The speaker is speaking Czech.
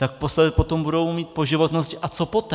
Tak potom budou mít po životnosti - a co poté?